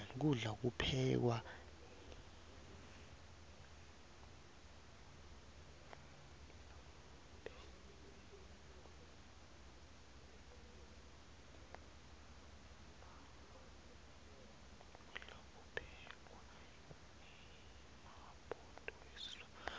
kudla kuphekwa ngemabhudo esiswati